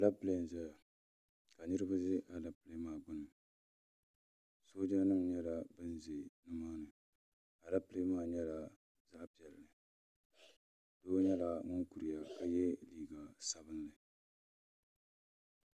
Aleepile n-ʒeya ka niriba ʒi Aleepile maa gbuuni sooja nima nyɛla ban ʒe nima ni Aleepile maa nyɛ zaɣ' piɛlli doo nyɛla ŋun kuriya ka ye liiga sabinli